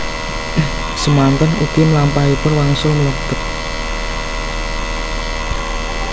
Semanten ugi mlampahipun wangsul mlebet